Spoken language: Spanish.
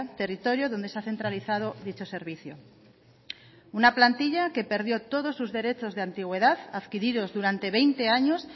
territorio donde se ha centralizado dicho servicio una plantilla que perdió todos sus derechos de antigüedad adquiridos durante veinte años